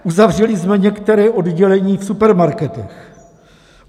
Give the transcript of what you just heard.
Uzavřeli jsme některá oddělení v supermarketech.